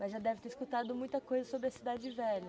Mas já deve ter escutado muita coisa sobre a Cidade Velha.